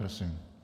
Prosím.